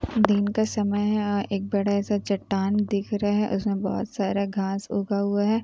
दिन का समय है एक बड़ा सा चट्टान दिख रहा है उसमें बहोत सारा घास उगा हुआ है।